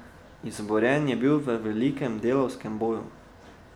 Izborjen je bil v velikem delavskem boju.